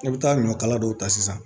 I bɛ taa ɲɔ kala dɔw ta sisan